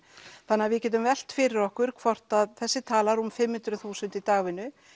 þannig að við getum velt fyrir okkur hvort að þessi tala rúm fimm hundruð þúsund í dagvinnu